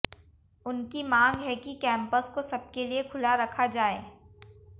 उनकी मांग है कि कैंपस को सबके लिए खुला रखा जाए